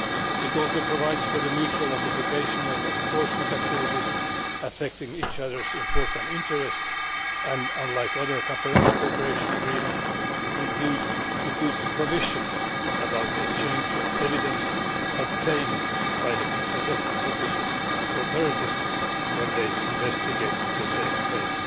It also provides for the mutual notification of enforcement activities affecting each other's important interests and, unlike other cooperation agreements, includes provisions concerning the exchange of evidence obtained by the competition authorities when they investigate the same case.